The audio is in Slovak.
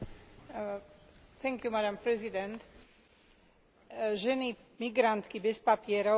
Ženy migrantky bez papierov reprezentujú skutočný problém aj tu v Európskom parlamente.